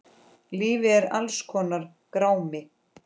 Lífið er alls konar grámi.